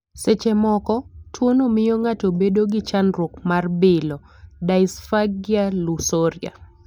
Seche moko, tuwono miyo ng'ato bedo gi chandruok mar bilo (dysphagia lusoria).